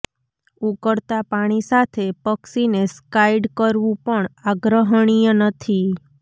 ઉકળતા પાણી સાથે પક્ષીને સ્કાઈડ કરવું પણ આગ્રહણીય નથી